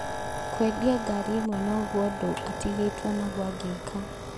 Kwendia ngari ĩmwe nogwo ũndũ atigĩtwo naguo angĩika